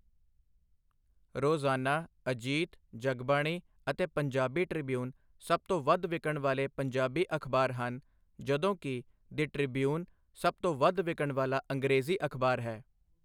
ਰੋਜ਼ਾਨਾ ਅਜੀਤ, ਜਗਬਾਣੀ ਅਤੇ ਪੰਜਾਬੀ ਟ੍ਰਿਬਿਊਨ ਸਭ ਤੋਂ ਵੱਧ ਵਿਕਣ ਵਾਲੇ ਪੰਜਾਬੀ ਅਖ਼ਬਾਰ ਹਨ ਜਦੋਂ ਕਿ ਦਿ ਟ੍ਰਿਬਿਊਨ ਸਭ ਤੋਂ ਵੱਧ ਵਿਕਣ ਵਾਲਾ ਅੰਗਰੇਜ਼ੀ ਅਖ਼ਬਾਰ ਹੈ।